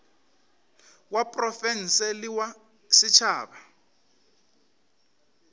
wa profense le wa setšhaba